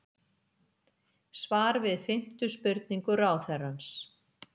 Svar við fimmtu spurningu ráðherrans